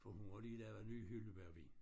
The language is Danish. For hun har lige lavet ny hyldebærvin